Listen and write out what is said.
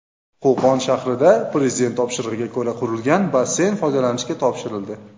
Qo‘qon shahrida Prezident topshirig‘iga ko‘ra qurilgan basseyn foydalanishga topshirildi.